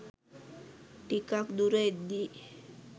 ටිකක් දුර එද්දී